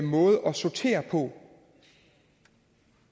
måde at sortere på